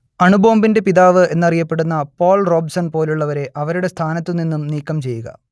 അണുബോംബിന്റെ പിതാവ് എന്നറിയപ്പെടുന്ന Paul Robeson പോലുള്ളവരെ അവരുടെ സ്ഥാനത്തു നിന്നും നീക്കംചെയ്യുക